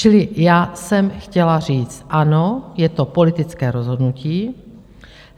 Čili já jsem chtěla říct: ano, je to politické rozhodnutí.